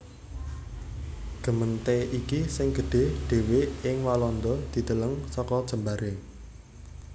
Gemeente iki sing gedhé dhéwé ing Walanda dideleng saka jembaré